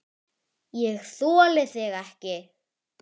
ÉG ÞOLI ÞIG EKKI!